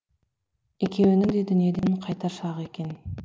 екеуінің де дүниеден қайтар шағы екен